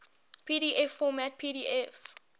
pdf format pdf